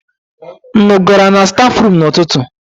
Unu gara na stafrum n'ụtụtụ?